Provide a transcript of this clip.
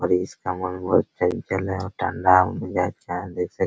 और इसका मन बहुत चंचल है और देख सकते है।